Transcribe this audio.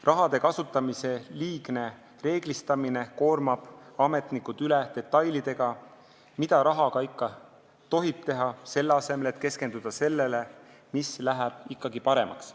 Raha kasutamise liigne reeglistamine koormab ametnikud üle detailidega, mida rahaga tohib teha, selle asemel et keskenduda sellele, mis läheb ikkagi paremaks.